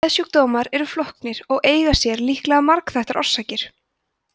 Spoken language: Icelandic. geðsjúkdómar eru flóknir og eiga sér líklega margþættar orsakir